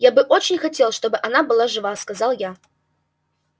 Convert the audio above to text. я бы очень хотел чтобы она была жива сказал я